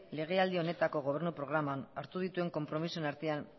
legealdi honetako gobernu programan hartu dituen konpromisoen artean